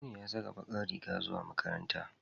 Aminu ya saka bakar riga zuwa makaranta.